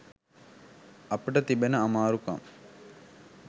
අපට තිබෙන අමාරුකම්